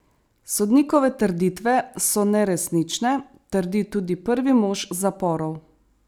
Sodnikove trditve so neresnične, trdi tudi prvi mož zaporov.